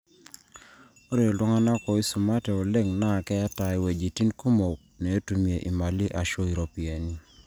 ore iltung'anak ooisumate oleng naa keeta iwuejitin kumok neetumie imali aashu iropiyiani